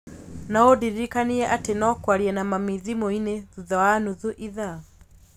No ũndirikanie atĩ no kwaria na mami thimũ-inĩ thutha wa nuthu ithaa.